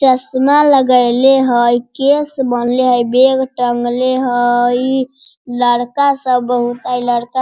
चश्मा लगैलै हई केस बांधले हई बैग टांगले हई लड़का सब बहुत हई लड़का --